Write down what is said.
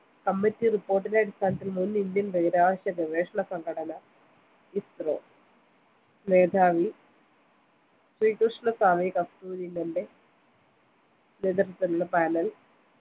committee report ന്റെ അടിസ്ഥാനത്തിൽ മുൻ indian ബഹിരാകാശ ഗവേഷണ സംഘടന ഇസ്‌റോ മേധാവി കൃഷ്ണസ്വാമി കസ്തൂരിരംഗന്റെ നേതൃത്വത്തിലുള്ള panel